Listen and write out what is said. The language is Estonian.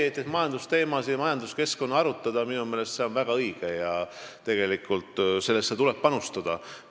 Aga majandusteemade arutamine on minu meelest väga õige ja sellesse tuleb panustada.